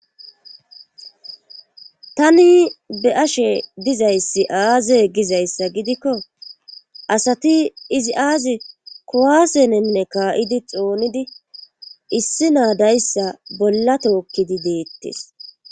tani be7 ashe dizayssi aaze gizayssa gidikko asati izi aazi kowaasenenne kaa7idi xoonidi issi naadayssa bolla tookkidi deettes